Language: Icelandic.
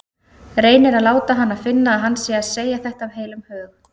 Reynir að láta hana finna að hann sé að segja þetta af heilum hug.